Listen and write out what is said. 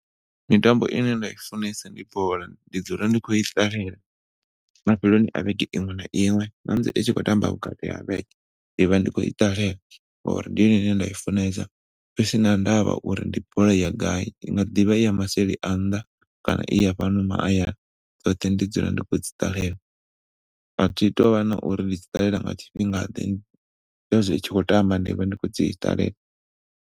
Mitambo ine nda i funesa ndi bola ndi dzula ndi khou i ṱalela mafheloni a vhege iṅwe na iṅwe na musi i tshi khou tamba vhukati ha vhege ndi vha ndi khou i ṱalela ngauri ndi yone ine nda i funesa husina ndavha uri ndi bola ya gai, i nga ḓivha iya maseli a nnḓa kana iya fhano mahayani dzoṱhe ndi dzula ndi khou dzi ṱalela. A thi tou vha na uri ndi dzi ṱalela nga tshifhinga ḓe zwezwi i tshi khou tamba ndi a vha ndi khou dzi ṱalela.